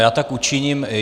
Já tak učiním.